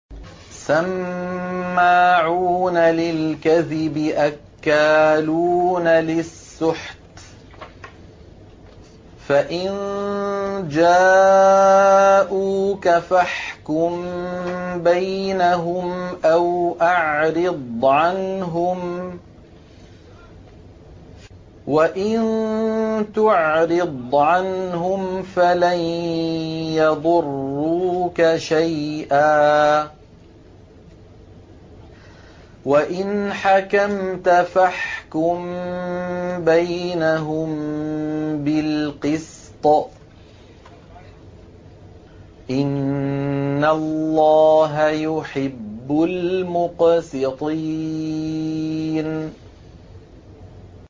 سَمَّاعُونَ لِلْكَذِبِ أَكَّالُونَ لِلسُّحْتِ ۚ فَإِن جَاءُوكَ فَاحْكُم بَيْنَهُمْ أَوْ أَعْرِضْ عَنْهُمْ ۖ وَإِن تُعْرِضْ عَنْهُمْ فَلَن يَضُرُّوكَ شَيْئًا ۖ وَإِنْ حَكَمْتَ فَاحْكُم بَيْنَهُم بِالْقِسْطِ ۚ إِنَّ اللَّهَ يُحِبُّ الْمُقْسِطِينَ